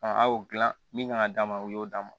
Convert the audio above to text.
a y'o dilan min kan ka d'a ma o y'o d'a ma